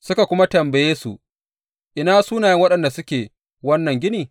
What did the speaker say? Suka kuma tambaye su Ina sunayen waɗanda suke wannan gini?